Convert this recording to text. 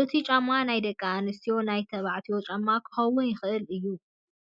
እቱይ ጫማ ናይ ደቂ ኣንስትዮን ናይ ተባዕትዮን ጫማ ክከውን ይክእል እዩ።